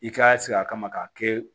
I ka sigi a kama k'a kɛ